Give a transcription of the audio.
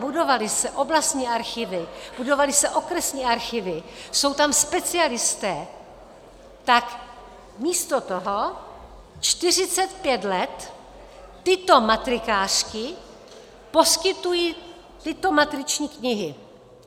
Budovaly se oblastní archivy, budovaly se okresní archivy, jsou tam specialisté, tak místo toho 45 let tyto matrikářky poskytují tyto matriční knihy.